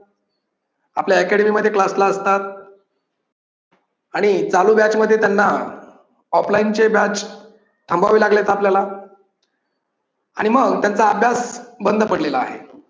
आपल्या academy मध्ये class ला असतात आणि चालू match मध्ये त्यांना offline चे batch थांबावे लागलेत आपल्याला आणि मग त्यांचा अभ्यास बंद पडलेला आहे.